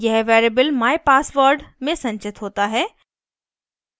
यह variable mypassword में संचित होता है